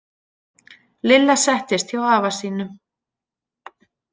Lilla settist hjá afa sínum.